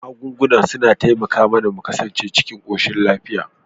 Magunguna na taimaka mAna mu ƙasance cikin koshin lafiya